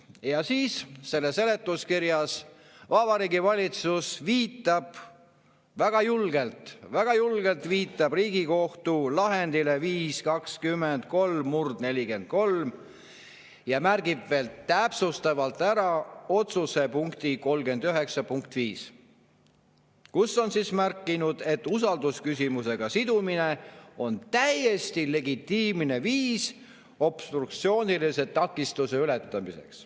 Ja siis selles seletuskirjas Vabariigi Valitsus viitab väga julgelt Riigikohtu lahendile 5‑20‑3/43, ja märgib veel täpsustavalt ära otsuse punkti 39.5, kus on märgitud, et usaldusküsimusega sidumine on täiesti legitiimne viis obstruktsioonilise takistuse ületamiseks.